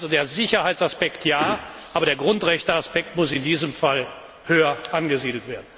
Also, der Sicherheitsaspekt Ja, aber der Grundrechteaspekt muss in diesem Fall höher angesiedelt werden.